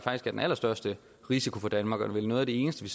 den allerstørste risiko for danmark og vel noget af det eneste vi